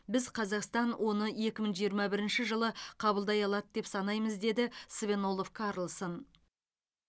біз қазақстан оны екі мың жиырма бірінші жылы қабылдай алады деп санаймыз деді свен олов карлсон